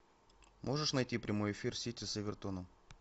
можешь найти прямой эфир сити с эвертоном